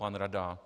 Pan rada?